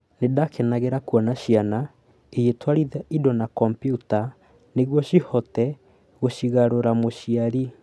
"Nĩ ndakenagĩra kuona ciana igĩtwarithia indo na kombiuta nĩguo cihote gũcigarũra" mũciari